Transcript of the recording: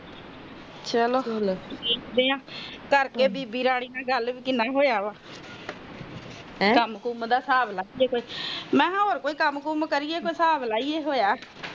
ਚਾਲ ਦੇਖਦੇ ਬੀਬੀ ਰਾਣੀ ਨਾਲ ਗੱਲ ਕਿੰਨਾ ਕੁ ਹੋਇਆ ਆ ਕੁਮ ਕੁਮ ਦਾ ਹਿਸਾਬ ਲੈ ਲਈਏ ਮੈਂ ਕਿਹਾ ਕੁਮ ਕੁਮ ਦਾ ਹਿਸਾਬ ਲੈ ਲਈਏ ਕੋਈ